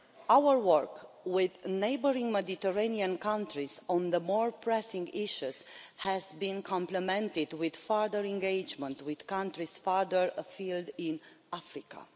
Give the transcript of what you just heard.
Our work with neighbouring Mediterranean countries on the more pressing issues has been complimented with further engagement with countries further afield in Africa.